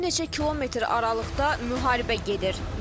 Bir neçə kilometr aralıqda müharibə gedir.